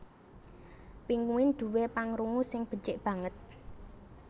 Pinguin duwé pangrungu sing becik banget